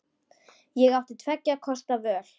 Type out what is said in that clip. Ég átti tveggja kosta völ.